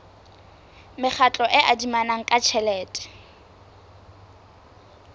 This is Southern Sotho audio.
mekgatlo e adimanang ka tjhelete